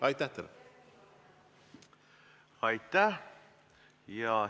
Aitäh!